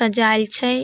सजायेल छै।